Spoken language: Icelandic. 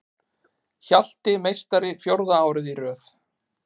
Hjalti meistari fjórða árið í röð